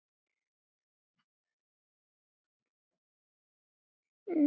Ég gat ekki mótmælt því.